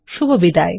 শুভবিদায়